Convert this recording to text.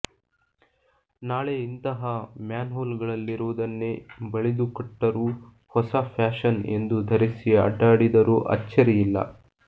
ನಾಳೆ ಇಂತಹ ಮ್ಯಾನ್ಹೋಲ್ಗಳಲ್ಲಿರುವುದನ್ನೇ ಬಳಿದುಕೊಟ್ಟರೂ ಹೊಸ ಪ್ಯಾಷನ್ ಎಂದು ಧರಿಸಿ ಅಡ್ಡಾಡಿದರೂ ಅಚ್ಚರಿಯಿಲ್ಲ